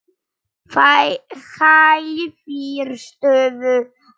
Hæfir stöðu hans.